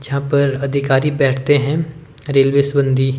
जहां पर अधिकारी बैठते हैं रेल्वे सबंधी --